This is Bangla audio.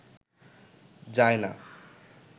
যায় না